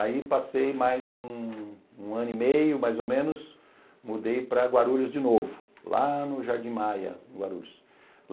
Aí passei mais um ano e meio, mais ou menos, mudei para Guarulhos de novo, lá no Jardim Maia, Guarulhos.